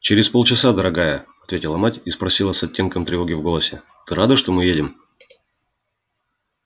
через полчаса дорогая ответила мать и спросила с оттенком тревоги в голосе ты рада что мы едем